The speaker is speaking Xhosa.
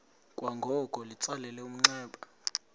kwangoko litsalele umnxeba